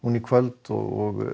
í kvöld og